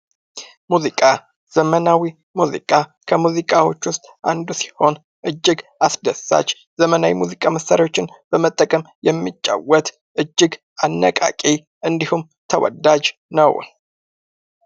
ሙዚቃ ዘመናዊ ሙዚቃ ከሙዚቃዎች ዉስጥ አንዱ ሲሆን እጅግ አስደሳች ዘመናዊ የሙዚቃ መሳሪያዎችን በመጠቀም የሚጫወት እጅግ አነቃቂ እንዲሁም ተወዳጅ ነው።